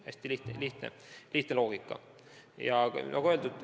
Hästi lihtne loogika.